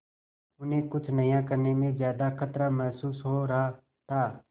उन्हें कुछ नया करने में ज्यादा खतरा महसूस हो रहा था